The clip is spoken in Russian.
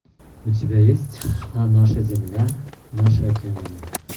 у тебя есть наша земля наши океаны